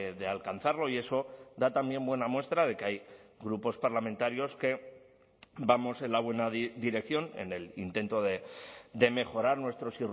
de alcanzarlo y eso da también buena muestra de que hay grupos parlamentarios que vamos en la buena dirección en el intento de mejorar nuestros